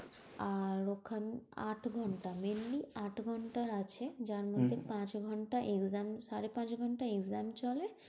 আর ওখান আট ঘন্টা, mainly আট ঘন্টার আছে। যার মধ্যে পাঁচ ঘন্টা exam সাড়ে পাঁচ ঘন্টা exam চলে,